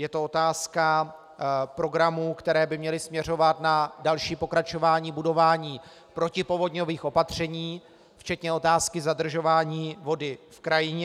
Je to otázka programů, které by měly směřovat na další pokračování budování protipovodňových opatření, včetně otázky zadržování vody v krajině.